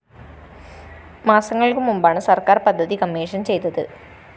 മാസങ്ങള്‍ക്ക്മുമ്പാണ് സര്‍ക്കാര്‍ പദ്ധതി കമ്മീഷൻ ചെയ്തത്